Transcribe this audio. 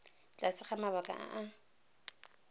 tlase ga mabaka a a